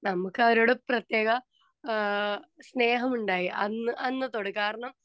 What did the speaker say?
speaker 2 നമ്മുക്ക് അവരോടു പ്രത്യേക ആ സ്നേഹമുണ്ടായി.അന്ന് അന്നത്തോടെ കാരണം